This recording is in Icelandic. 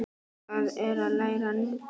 Það er að læra nudd.